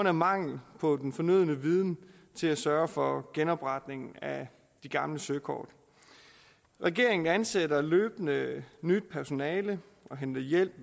af mangel på den fornødne viden til at sørge for genopretningen af de gamle søkort regeringen ansætter løbende nyt personale og henter hjælp